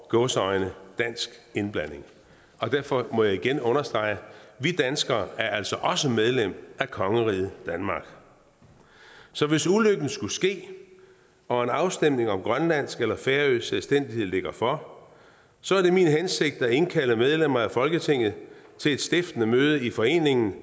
i gåseøjne dansk indblanding derfor må jeg igen understrege at vi danskere altså også er medlem af kongeriget danmark så hvis ulykken skulle ske og en afstemning om grønlandsk eller færøsk selvstændighed ligger for så er det min hensigt at indkalde medlemmer af folketinget til et stiftende møde i foreningen